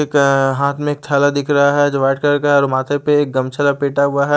एक हाथ में एक थैला दिख रहा है जो व्हाइट कलर का है और माथे पे एक गमछा लपेटा हुआ है।